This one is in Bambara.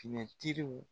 Finitigiw